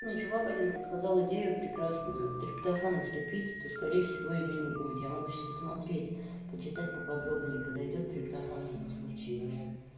ничего вадим подсказал идею прекрасную триптофана слепить то скорее всего её не будет я могу сейчас посмотреть почитать поподробнее подойдёт триптофан в этом случае или нет